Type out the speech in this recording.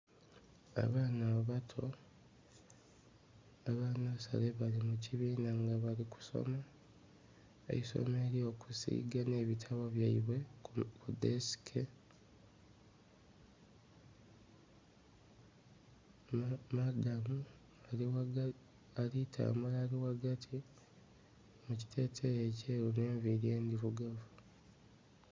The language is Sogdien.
Abaana abato aba nasale bali mu kibiina bali kusoma eisomo elyo kusiga nhe bitabo byaibwe ku desike. Madamu alitambula ali ghagati mu ekiteteyi ekyeru nhe'nviri endhirugavu.